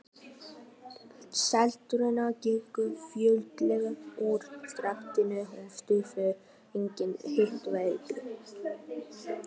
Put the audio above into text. Seltirningar gengu fljótlega úr skaftinu og stofnuðu eigin hitaveitu.